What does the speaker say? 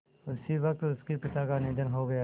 उसी वक़्त उनके पिता का निधन हो गया